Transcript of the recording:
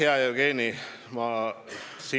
Hea Jevgeni!